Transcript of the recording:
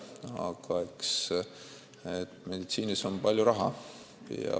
Aga eks meditsiinis ole palju raha.